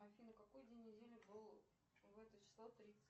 афина какой день недели был в это число